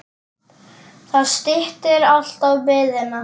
Það styttir alltaf biðina.